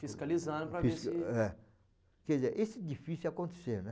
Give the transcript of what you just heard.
Fiscalizando para ver se... É, quer dizer, isso é difícil de acontecer, né?